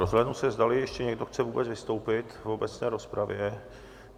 Rozhlédnu se, zdali ještě někdo chce vůbec vystoupit v obecné rozpravě.